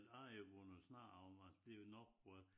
***UF**